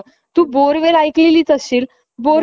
त्याचा किती आवाज होतो, त्याचा किती त्रास होत असेल ??